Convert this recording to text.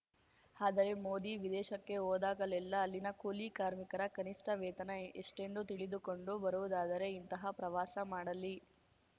ಆದರೆ ಮೋದಿ ವಿದೇಶಕ್ಕೆ ಹೋದಾಗಲ್ಲೆಲ್ಲಾ ಅಲ್ಲಿನ ಕೂಲಿ ಕಾರ್ಮಿಕರ ಕನಿಷ್ಟವೇತನ ಎಷ್ಟೆಂದು ತಿಳಿದುಕೊಂಡು ಬರುವುದಾದರೆ ಇಂತಹ ಪ್ರವಾಸ ಮಾಡಲಿ